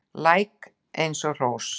Læk er eins og hrós